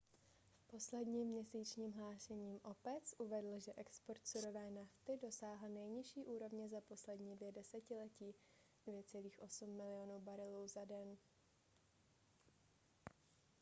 v posledním měsíčním hlášení opec uvedl že export surové nafty dosáhl nejnižší úrovně za poslední dvě desetiletí 2,8 milionu barelů za den